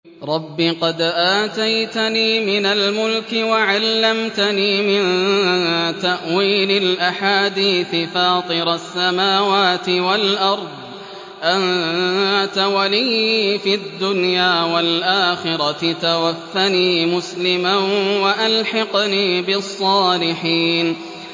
۞ رَبِّ قَدْ آتَيْتَنِي مِنَ الْمُلْكِ وَعَلَّمْتَنِي مِن تَأْوِيلِ الْأَحَادِيثِ ۚ فَاطِرَ السَّمَاوَاتِ وَالْأَرْضِ أَنتَ وَلِيِّي فِي الدُّنْيَا وَالْآخِرَةِ ۖ تَوَفَّنِي مُسْلِمًا وَأَلْحِقْنِي بِالصَّالِحِينَ